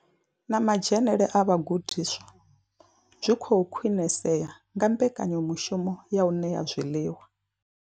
Na madzhenele a vhagudiswa zwi khou khwinisea nga mbekanyamushumo ya u ṋea zwiḽiwa.